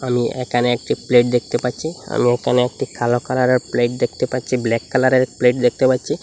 আমি একানে একটি প্লেট দেখতে পাচ্ছি আমি এখানে একটি কালো কালারের প্লেট দেখতে পাচ্ছি ব্ল্যাক কালারের প্লেট দেখতে পাচ্ছি।